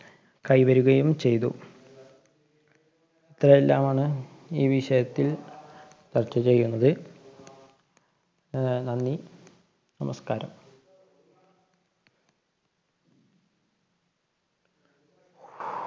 കൈവരുകയും ചെയ്തു. ഇത്രയെല്ലാമാണ് ഈ വിഷയത്തില്‍ ചര്‍ച്ച ചെയ്യുന്നത്. അഹ് നന്ദി നമസ്കാരം.